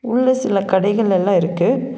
உள்ள சில கடைகள் எல்லா இருக்கு.